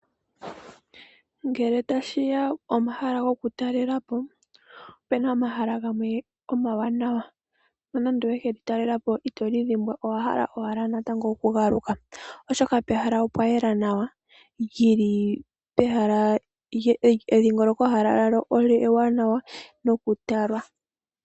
Ngele tashiya pomahala goku talelapo opena omahala gamwe omawanawa nonando owe kelitalelapo itolidhimbwa owahala owala oku galuka oshoka pehala opwa yela nawa edhingoloko lyawo ewanawa nokutala.